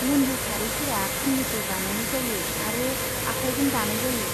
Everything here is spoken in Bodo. मुन्दु सारिफोरा खुनफिन्नाय बानायनाय जायो आरो आखाइजों दानाय जायो।